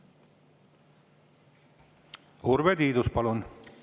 Urve Tiidus, palun!